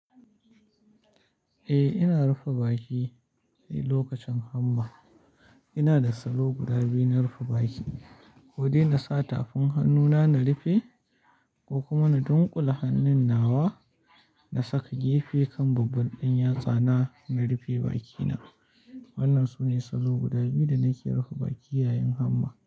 Eh, ina rufe baki lokacin hamma. Ina da salo guda biyu na rufe baki. Ko dai na sa tafin hannuna na rufe, ko kuma na dunƙule hannun nawa na saka gefe kan babban ɗan yatsa na, na rufe bakina. Wannan sune salo guda biyu da nake rufe baki yayin hamma.